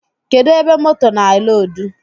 Kedụ ebe moto na-eloodu?